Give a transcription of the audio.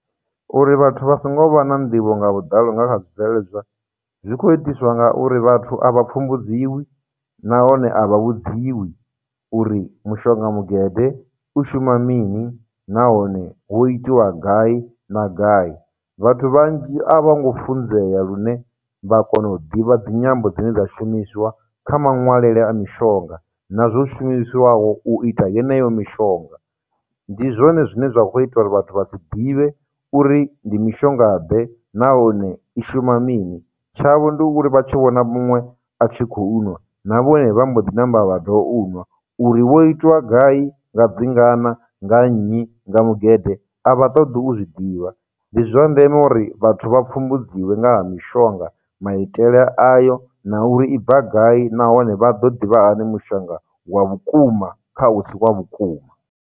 Uri vhathu vha songo vha na nḓivho nga vhuḓalo nga kha zwibveledzwa, zwi khou itiswa ngauri vhathu a vha pfumbudziwi, nahone a vha vhudziwi uri mushonga mugede u shuma mini, nahone hu itiwa gai na gai. Vhathu vhanzhi a vha ngo funzea lune vha kona u ḓivha dzinyambo dzine dza shumiswa kha muṅwaleli a mishonga na zwo shumisiwaho u ita yeneyo mishonga. Ndi zwone zwine zwa khou ita uri vhathu vha si ḓivhe uri ndi mishongaḓe, nahone i shuma mini, tshavho ndi uri vha tshi vhona muṅwe a tshi khou nwa, na vhone vha mbo ḓi ṋamba vha u nwa, uri wo itwa gai, nga dzingana, nga nnyi, nga mugede, a vha ṱoḓi u zwiḓivha. Ndi zwa ndeme uri vhathu vha pfumbudziwe nga ha mishonga, maitele ayo, na uri i bva gai, nahone vha ḓo ḓivha hani mushonga wa vhukuma kha u si wa vhukuma.